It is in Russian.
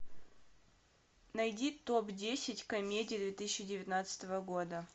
найди топ десять комедий две тысячи девятнадцатого года